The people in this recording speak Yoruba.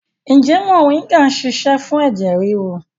Ǹjẹ́ moringa ń ṣiṣẹ́ fún ẹ̀jẹ̀ ríru?